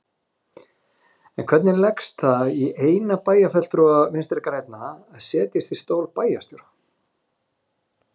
En hvernig leggst það í eina bæjarfulltrúa Vinstri-grænna að setjast í stól bæjarstjóra?